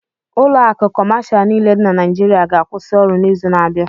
Ụlọ akụ kọmashal niile dị na Naịịjirịa ga-akwụsị ọrụ n'izu na abia.